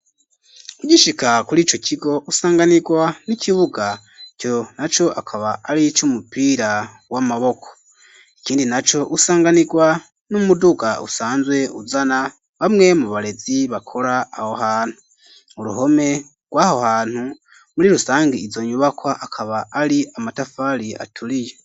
Ugishika kurico kigo usanganirwa n'ikibuga ico naco akaba ari c'umupira w'amaboko ikindi naco usanganirwa n'umuduga usanzwe uzana bamwe mu barezi bakora aho hantu uruhome rwaho hantu muri rusangi izo nyubakwa akaba ari amatafari aturiye.